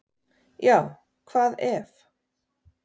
Já hvað ef!